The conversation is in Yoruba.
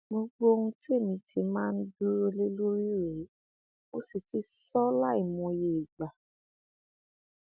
gbogbo ohun tẹmí ti máa ń dúró lé lórí rèé mo sì ti sọ ọ láìmọye ìgbà